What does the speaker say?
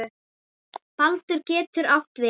Baldur getur átt við